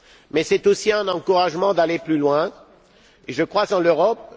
Mais c'est aussi un encouragement à aller plus loin, et je crois en l'Europe.